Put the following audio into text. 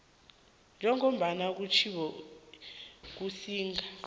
njengombana kutjhiwo kusigaba